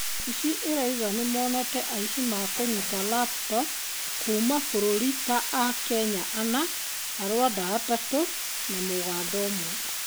Obithi ĩraũga nĩmonete aici ma kũnyita raputopu kuuma mabũrũri ta Akenya anna, Arwanda atatũ na Mũganda ũmwe